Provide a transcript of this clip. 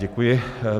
Děkuji.